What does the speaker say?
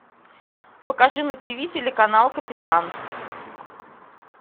покажи на ти ви телеканал капитан